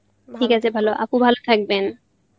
ঠিক আছে ভালো আপু ভালো থাকবেন.